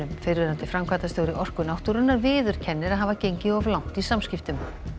fyrrverandi framkvæmdastjóri Orku náttúrunnar viðurkennir að hafa gengið of langt í samskiptum